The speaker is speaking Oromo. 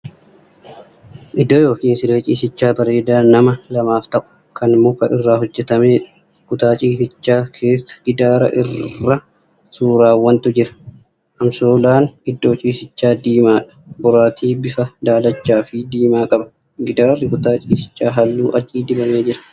Iddoo yookiin siree ciisichaa bareedaa nama lamaaf ta'u, kan muka irra hoojjatamedha. kutaa ciisichaa keessa gidaara irra suurawwantu jira. Amsoolaan iddoo ciisichaa diimaadha. Boraatii bifaan dalachaafii diimaa qaba. gidaarri kutaa ciisichaa halluu adii dibamee jira.